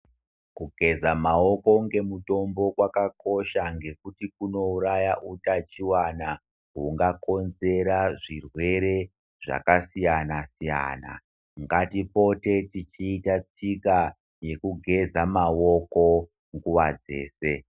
Kugeza maoko ngemutombo kwakakosha ngekuti kunouraya utachiwana hungakonzera zvirwere zvakasiyana siyana, ngatipote tichiita tsika yekugeza maoko nguva dzese.